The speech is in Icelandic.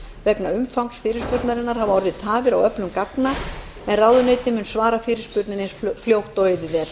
vegna umfangs fyrirspurnarinnar hafa orðið tafir á öflun gagna en ráðuneytið mun svara fyrirspurninni eins fljótt og auðið er